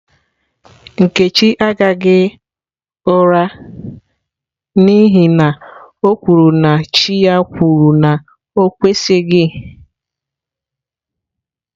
Nkechi agaghi ura n'ihi na o kwuru na chi ya kwuru na o kwesịghị.